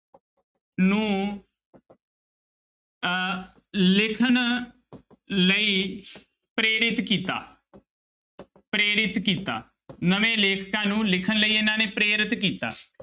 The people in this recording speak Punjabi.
ਨੂੰ ਅਹ ਲਿਖਣ ਲਈ ਪ੍ਰੇਰਿਤ ਕੀਤਾ ਪ੍ਰੇਰਿਤ ਕੀਤਾ ਨਵੇਂ ਲੇਖਕਾਂ ਨੂੰ ਲਿਖਣ ਲਈ ਇਹਨਾਂ ਨੇ ਪ੍ਰੇਰਿਤ ਕੀਤਾ।